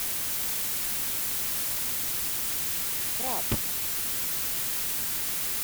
краб